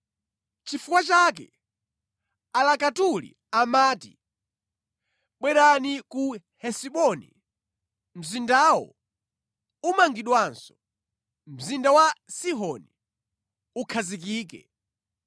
Nʼchifukwa chake alakatuli amati: “Bwerani ku Hesiboni, mzindawo umangidwenso; mzinda wa Sihoni ukhazikike.